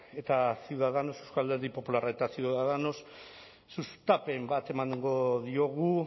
eta ciudadanos eusko alderdi popularra eta ciudadanos sustapen bat emango diogu